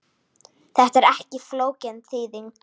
Þetta er ekki flókin þýðing.